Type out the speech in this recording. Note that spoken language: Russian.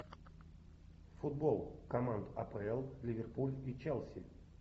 футбол команд апл ливерпуль и челси